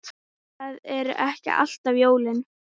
Það eru ekki alltaf jólin.